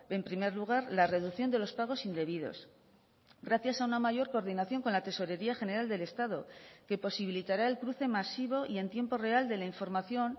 en primer lugar la reducción de los pagos indebidos gracias a una mayor coordinación con la tesorería general del estado que posibilitará el cruce masivo y en tiempo real de la información